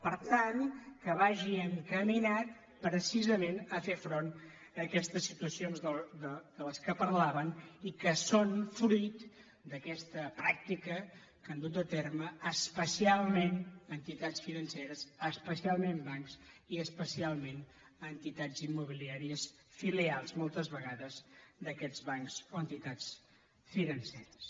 per tant que vagi encaminat precisament a fer front a aquestes situacions de les quals parlaven i que són fruit d’aquesta pràctica que han dut a terme especialment entitats financeres especialment bancs i especialment entitats immobiliàries filials moltes vegades d’aquests bancs o entitats financeres